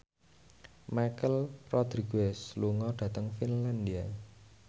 Michelle Rodriguez lunga dhateng Finlandia